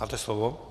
Máte slovo.